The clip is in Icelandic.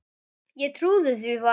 Ég trúði því varla.